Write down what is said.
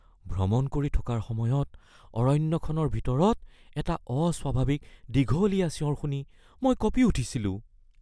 ভ্ৰমণ কৰি থকাৰ সময়ত অৰণ্যখনৰ ভিতৰত এটা অস্বাভাৱিক দীঘলীয়া চিঞৰ শুনি মই কঁপি উঠিছিলোঁ।